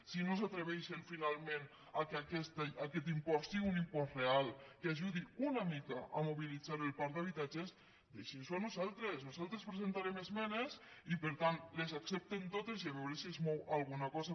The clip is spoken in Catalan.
si no s’atreveixen finalment que aquest impost sigui un impost real que ajudi una mica a mobilitzar el parc d’habitatges deixinnosho a nosaltres nosaltres presentarem esmenes i per tant les accepten totes i a veure si es mou alguna cosa